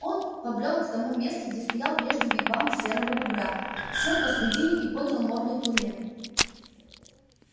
он побрёл к тому месту где стоял прежде вигвам серого бобра сел посредине и поднял морду к луне